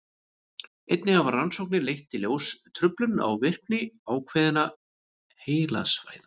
einnig hafa rannsóknir leitt í ljós truflun á virkni ákveðinna heilasvæða